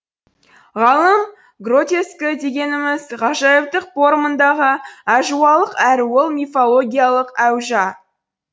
ғалым гротескі дегеніміз ғажайыптық порымындағы әжуалық әрі ол мифологиялық әужа